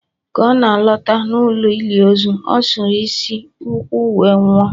ka ọ na-alọta n'ụlọ ili ozu, ọ sụrụ n'si ukwu wee nwụọ